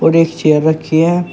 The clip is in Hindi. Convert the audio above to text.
और एक चेयर रखी हैं।